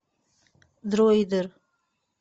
дройдер